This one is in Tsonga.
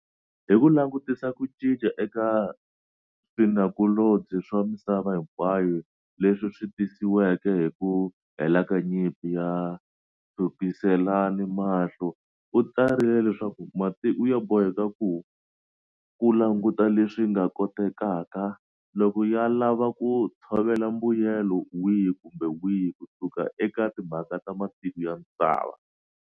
Hi ku langutisisa ku cinca eka swinakulobye swa misava hinkwayo leswi swi tisiweke hi ku hela ka Nyimpi yo Tshwukiselana Mahlo, u tsarile leswaku matiko ya boheka ku ku languta leswi nga kotekaka loko ya lava ku tshovela mbuyelo wihi kumbe wihi kusuka eka timhaka ta matiko ya misava.